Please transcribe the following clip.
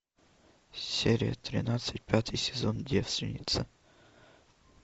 серия тринадцать пятый сезон девственница